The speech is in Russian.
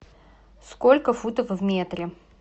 сколько футов в метре